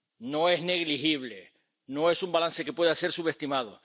no es negligible, no es un balance que pueda ser subestimado.